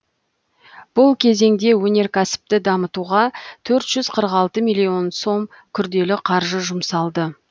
бұл кезеңде өнеркәсіпті дамытуға төрт жүз қырық алты миллион сом күрделі қаржы жұмсалды